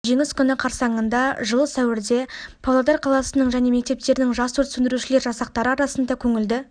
жеңіс күні қарсаңында жылы сәуірде павлодар қаласының және мектептерінің жас өрт сөндірушілер жасақтары арасында көңілді